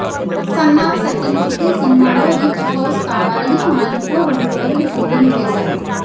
son of Satyamurthy సినిమాలో rich house కావాలని మా ఇంట్లో రెండు రోజులు షూటింగ్ చేశారు